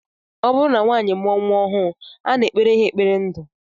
Ọ bụrụ na nwaanyị mụọ nnwa ọhụrụ, a na-ekpere ha ekpere ndu